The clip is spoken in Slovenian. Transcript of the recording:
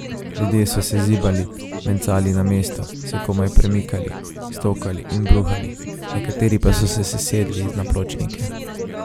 Ljudje so se zibali, mencali na mestu, se komaj premikali, stokali in bruhali, nekateri pa so se sesedli na pločnike.